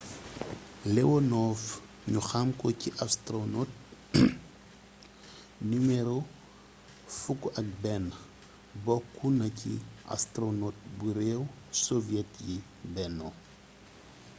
leonov ñu xamko ci ‘’astoronot no. 11’’ bokkuna ci astoronot bu réew soviet yi benno